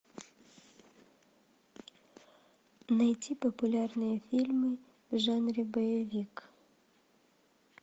найти популярные фильмы в жанре боевик